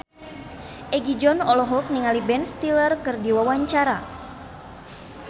Egi John olohok ningali Ben Stiller keur diwawancara